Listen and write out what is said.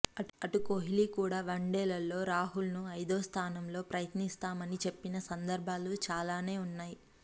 అటు కోహ్లీ కూడా వన్డేల్లో రాహుల్ను ఐదో స్థానంలో ప్రయత్నిస్తామని చెప్పిన సందర్భాలు చాలానే ఉన్నాయి